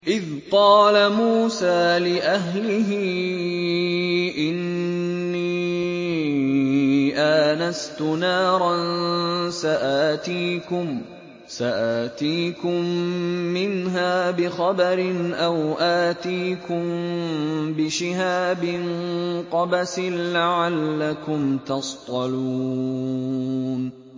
إِذْ قَالَ مُوسَىٰ لِأَهْلِهِ إِنِّي آنَسْتُ نَارًا سَآتِيكُم مِّنْهَا بِخَبَرٍ أَوْ آتِيكُم بِشِهَابٍ قَبَسٍ لَّعَلَّكُمْ تَصْطَلُونَ